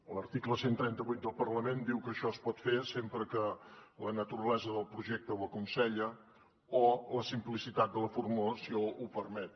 l’article cent i trenta vuit del reglament diu que això es pot fer sempre que la naturalesa del projecte ho aconsella o la simplicitat de la formulació ho permet